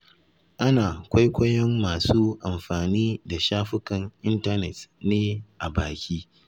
Ana kwaikwayon masu amfani da shafukan intanet ne a baki.